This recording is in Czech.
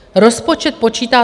Rozpočet počítá...